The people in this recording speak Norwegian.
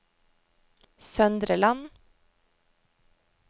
Søndre Land